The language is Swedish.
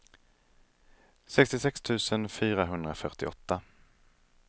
sextiosex tusen fyrahundrafyrtioåtta